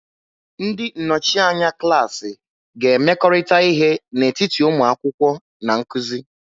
Ndị nnọchi anya klaasị ga-emekọrịta ihe n'etiti ụmụ akwụkwọ na nkuzi.